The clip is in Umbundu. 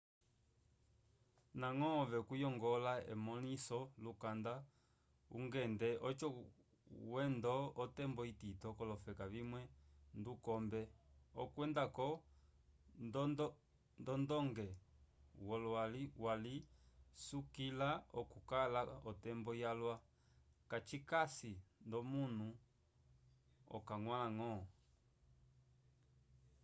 ndañgo ove kuyongola emõliso lyukanda ungende oco wendo otembo itito k'olofeka vimwe ndukombe okwenda-ko nd'ondonge yowali cisukila okukala otembo yalwa kacikasi nd'omunu okañgwãlañgo